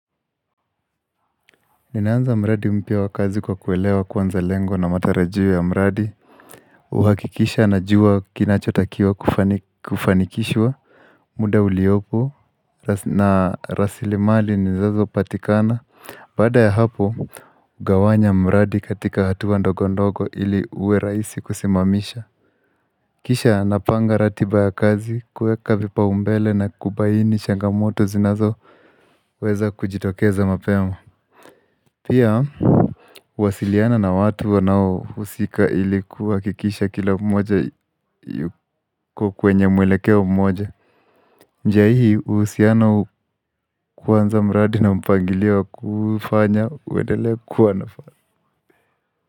Ninaanza mradi mpya wa kazi kwa kuelewa kwanza lengo na matarajio ya mradi uhakikisha najua kinachotakiwa kufanikishwa muda uliopo na rasilimali nizazo patikana Baada ya hapo, ugawanya mradi katika hatua ndogo ndogo ili uwe rahisi kusimamisha Kisha napanga ratiba ya kazi kuweka vipaumbele na kubaini changamoto zinazoWeza kujitokeza mapema Pia, kuasiliana na watu wanao husika ili kuhakikisha kila mmoja yuko kwenye mwelekeo mmoja njia hii uhusiana kwanza mradi na mpangilio kufanya uendelee kuwanafana.